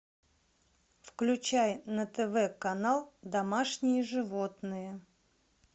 включай на тв канал домашние животные